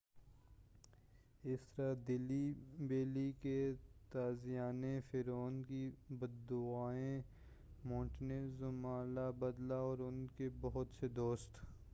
اس طرح دہلی بیلی کے تازیانے فرعون کی بد دعائیں مونٹے زوما لا بدلہ اور اُن کے بہت سے دوست